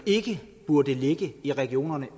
ikke burde ligge i regionerne